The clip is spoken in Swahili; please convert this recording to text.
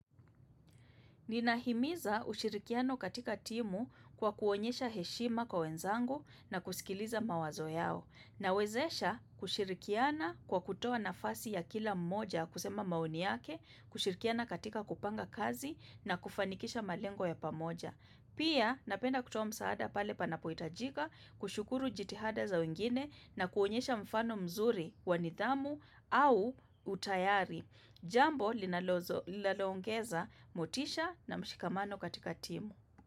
Ninahimiza ushirikiano katika timu kwa kuonyesha heshima kwa wenzangu na kusikiliza mawazo yao. Nawezesha kushirikiana kwa kutoa nafasi ya kila mmoja kusema maoni yake kushirikiana katika kupanga kazi na kufanikisha malengo ya pamoja. Pia napenda kutoa msaada pale panapoitajika kushukuru jitihada za wengine na kuonyesha mfano mzuri wa nithamu au utayari. Jambo linaloongeza motisha na mshikamano katika timu.